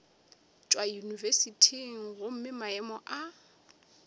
tšwa yunibesithing gomme maemo a